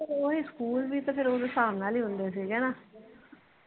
ਓਦੋ ਸਕੂਲ ਵੀ ਤਾ ਫਿਰ ਓਦੋ ਸਾਬ ਨਾਲ ਈ ਹੁੰਦੇ ਸੀ ਗੇ ਨਾ